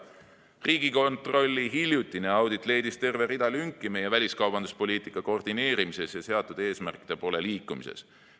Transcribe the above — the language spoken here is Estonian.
Riigikontrolli hiljutine audit leidis terve rea lünki meie väliskaubanduspoliitika koordineerimises ja seatud eesmärkide poole liikumises.